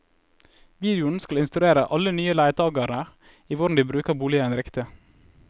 Videoen skal instruere alle nye leietagere i hvordan de bruker boligen riktig.